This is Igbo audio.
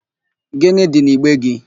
Gịnị dị n'igbe gị?